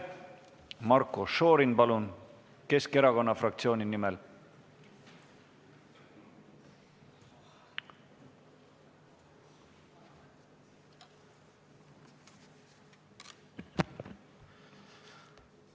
Marko Šorin, palun, Keskerakonna fraktsiooni nimel!